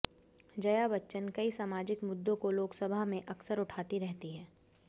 जया बच्चन कई सामाजिक मुद्दों को लोकसभा में अक्सर उठाती रहतीं हैं